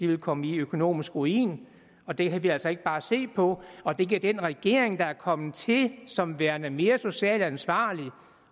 vil komme i økonomisk ruin og det kan vi altså ikke bare se på og det kan den regering som er kommet til som værende mere socialt ansvarlig